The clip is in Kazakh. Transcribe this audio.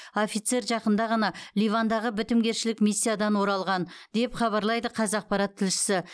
офицер жақында ғана ливандағы бітімгершілік миссиядан оралған деп хабарлайды қазақпарат тілшісі